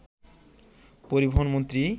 পরিবহন মন্ত্রী